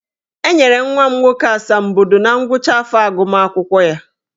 E nyere nwa m nwoke asambodo na ngwụcha afọ agụmakwụkwọ ya.